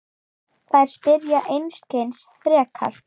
Þær spyrja einskis frekar.